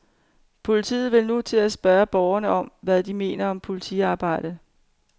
Politiet vil nu til at spørge borgerne om, hvad de mener om politiarbejdet.